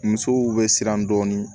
Musow bɛ siran dɔɔni